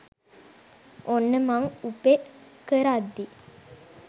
ඔන්න මං උපෙ කරද්දි